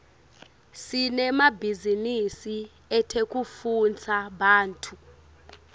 sinemabhizinisi etekutfutsa bantfu